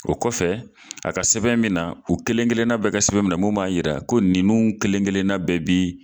O kɔfɛ a ka sɛbɛn min na u kelenkelenna bɛɛ ka sɛbɛn bɛ na mun b'a jira ko ninnu kelenkelenna bɛɛ bi